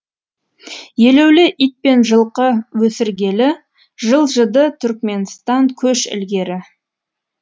елеулі ит пен жылқы өсіргелі жылжыды түркменстан көш ілгері